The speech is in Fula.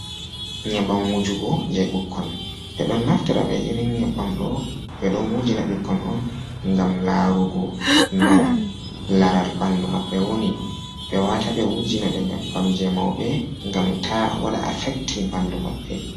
Nyebam wujugo je ɓukkon ɓe don naftira be irin nyabbam do be don wujina ɓikkon on gam larugo no laral bandu mabɓe woni be wata e wujina be nyabbam je mauɓe gam ta wada affektin bandu maɓɓe.